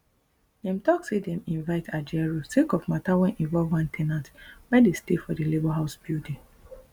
dem tok say dem invite ajaero sake of mata wey involve one ten ant wey dey stay for di labour house building